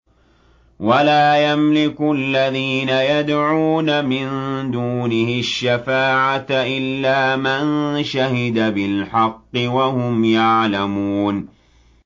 وَلَا يَمْلِكُ الَّذِينَ يَدْعُونَ مِن دُونِهِ الشَّفَاعَةَ إِلَّا مَن شَهِدَ بِالْحَقِّ وَهُمْ يَعْلَمُونَ